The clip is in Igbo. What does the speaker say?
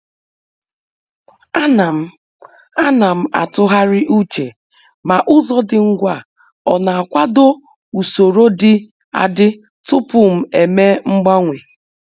Ana m Ana m atụgharị uche ma ụzọ dị ngwa ọ na-akwado usoro dị adị tupu m eme mgbanwe.